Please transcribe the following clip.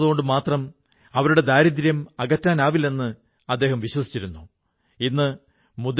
തന്റെ വരും തലമുറകൾ ദാരിദ്ര്യത്തിൽ കഴിയാതിരിക്കാൻ മംജൂർ ഭായി എന്തെങ്കിലും പുതിയതായി ചെയ്യാനാഗ്രഹിച്ചു